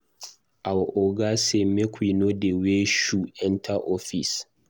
Our Oga say make we no dey wear shoe enter office